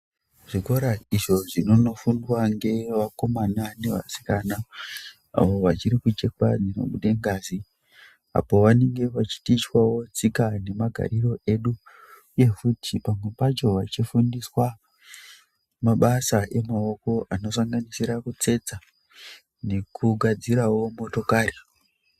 Zvikora izvo zvinonofundwa ngevakomana nevasikana avo vachiri kuchekwa dzinobude ngazi apo vanengewo vachitichiwawo tsika nemagariro edu pamwe pacho vachifundiswa mabasa emaoko anosanganisira kutsetsa nekugadzirawo motokari .